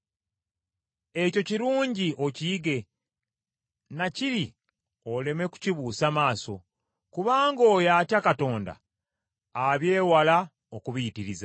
Ekyo kirungi okiyige, na kiri oleme kukibuusa maaso, kubanga oyo atya Katonda abyewala okubiyitiriza.